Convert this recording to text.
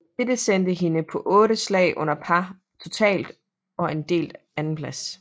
Dette sendte hende på 8 slag under par totalt og en delt andenplads